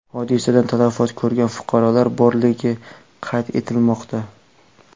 Hodisadan talafot ko‘rgan fuqarolar borligi qayd etilmoqda.